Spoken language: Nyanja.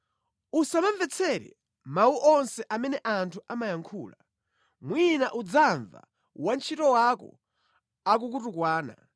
Usamamvetsere mawu onse amene anthu amayankhula, mwina udzamva wantchito wako akukutukwana,